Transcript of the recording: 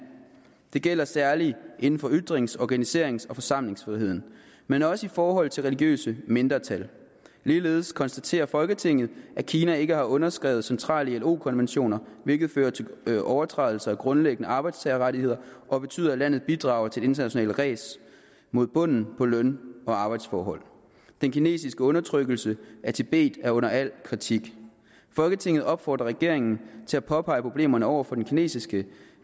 det gælder særligt inden for ytrings organiserings og forsamlingsfriheden men også i forhold til religiøse mindretal ligeledes konstaterer folketinget at kina ikke har underskrevet centrale ilo konventioner hvilket fører til overtrædelser af grundlæggende arbejdstagerrettigheder og betyder at landet bidrager til det internationale ræs mod bunden på løn og arbejdsforhold den kinesiske undertrykkelse af tibet er under al kritik folketinget opfordrer regeringen til at påpege problemerne over for den kinesiske